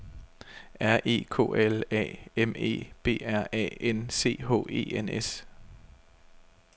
R E K L A M E B R A N C H E N S